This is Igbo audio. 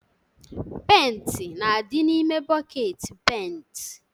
Penti na-adị n'ime bọket penti